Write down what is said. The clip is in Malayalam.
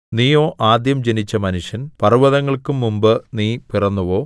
നീയോ ആദ്യം ജനിച്ച മനുഷ്യൻ പർവ്വതങ്ങൾക്കും മുമ്പ് നീ പിറന്നുവോ